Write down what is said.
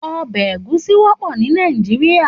Òbè égúsì wòpò ni Nàijiriá